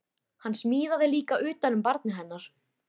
Hann smíðaði líka utan um barnið hennar